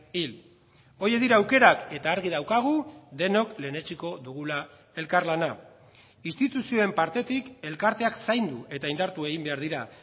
hil horiek dira aukerak eta argi daukagu denok lehenetsiko dugula elkarlana instituzioen partetik elkarteak zaindu eta indartu egin behar dira